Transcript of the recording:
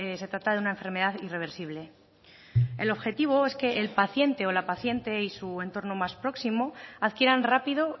se trata de una enfermedad irreversible el objetivo es que el paciente o la paciente y su entorno más próximo adquieran rápido